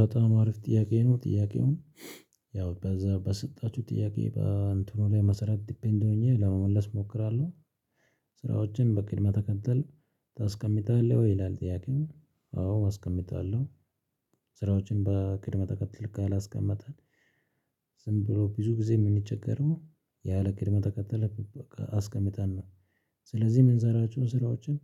በጣም አሪፍ ጥያቄ ነው ጥያቄውን ያው በዛ በሰጣችሁ ጥያቄ በእንትኑ ላይ መሰረት ዲፔንድ ሆኜ ለመመለስ እሞክራለሁ። ስራዎችን በቅድመ ተከተል ታስቀምጣለህ ወይ ይላል? ጥያቄው። አዎ አስቀምጣለሁ ስራዎችን በቅደም ተከተል ካላስቀመጠን ዝም ብሎ ብዙ ጊዜ ምንቸገረው። ያለ ቅድመ ተከተል አስቀምጠን ነው። ስለዚህ የምንሰራቸው ስራዎችን